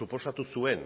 suposatu zuen